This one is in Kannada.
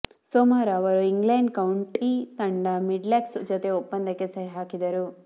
ಸೋಮವಾರ ಅವರು ಇಂಗ್ಲೆಂಡ್ ಕೌಂಟಿ ತಂಡ ಮಿಡ್ಲ್ಸೆಕ್ಸ್ ಜತೆ ಒಪ್ಪಂದಕ್ಕೆ ಸಹಿ ಹಾಕಿದರು